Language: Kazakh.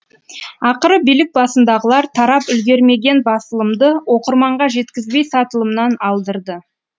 ақыры билік басындағылар тарап үлгермеген басылымды оқырманға жеткізбей сатылымнан алдырды